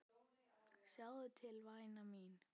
Sjáðu til væna mín.